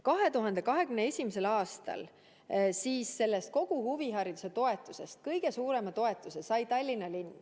2021. aastal sai sellest huvihariduse toetusest kõige suurema osa Tallinna linn.